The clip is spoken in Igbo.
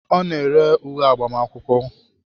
Ọ na-ere uwe agbamakwụkwọ